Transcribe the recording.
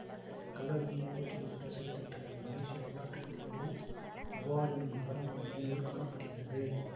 அந்த கல்லறையை போர்த்துகீசியர்கள் சிதைத்து விட்டனர் மலேசிய வரலாற்று பதிவுகளில் மூவார் எனும் நகரம் பல இடங்களில் காண படுகிறது